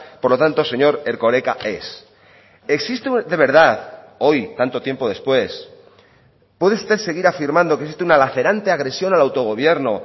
por lo tanto señor erkoreka es existe de verdad hoy tanto tiempo después puede usted seguir afirmando que existe una lacerante agresión al autogobierno